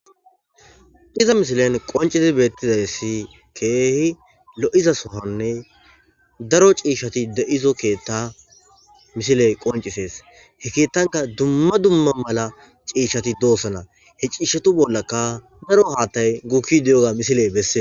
Iza misileni qonciddi betizayissi kehi loyidda soohanne darro cishati deyizo ketha misileyi qoncisesi. He kethanikka duma duma cishati deyosona he cishata boola darro hathayi gukidi deyeyisa bessesi.